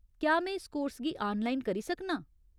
क्या में इस कोर्स गी आनलाइन करी सकनां ?